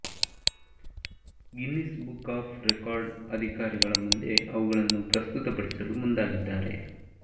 Guinness book of ರೆಕಾರ್ಡ್ನ ಅಧಿಕಾರಿಗಳ ಮುಂದೆ ಅವುಗಳನ್ನು ಪ್ರಸ್ತುತಪಡಿಸಲು ಮುಂದಾಗಿದ್ದಾರೆ